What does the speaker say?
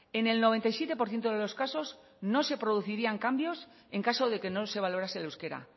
en el noventa y siete por ciento de los casos no se producirían cambios en caso de que no se valorase el euskera